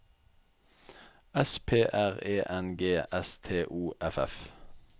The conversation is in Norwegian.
S P R E N G S T O F F